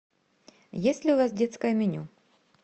есть ли у вас детское меню